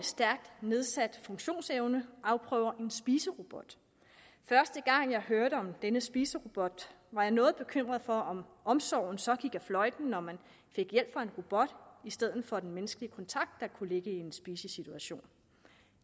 stærkt nedsat funktionsevne afprøver en spiserobot første gang jeg hørte om denne spiserobot var jeg noget bekymret for om omsorgen så gik fløjten når man fik hjælp fra en robot i stedet for at få den menneskelige kontakt der kan ligge i en spisesituation